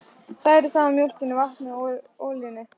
Hrærið saman mjólkinni, vatninu og olíunni.